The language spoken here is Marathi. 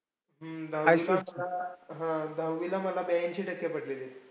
दहावीला मला हम्म दहावीला मला ब्याऐंशी टक्के पडलेले.